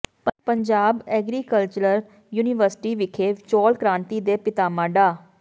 Punjab agricultural university ਵਿਖੇ ਚੌਲ ਕ੍ਰਾਂਤੀ ਦੇ ਪਿਤਾਮਾ ਡਾ